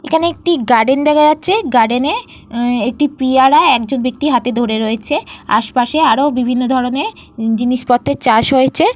এখানে একটি গার্ডেন দেখা যাচ্ছে। গার্ডেন এ উঃ একটি পিয়ারা একজন ব্যক্তি হাতে ধরে রয়েছে। আশেপাশে আরো বিভিন্ন ধরণের জিনিসপত্রের চাষ হয়েছে।